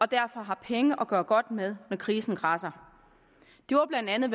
derfor har penge at gøre godt med når krisen kradser det var blandt andet